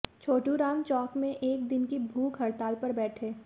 छोटू राम चौक में एक दिन की भूखहड़ताल पर बैठे